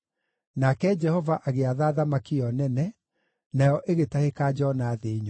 Nake Jehova agĩatha thamaki ĩyo nene, nayo ĩgĩtahĩka Jona thĩ nyũmũ.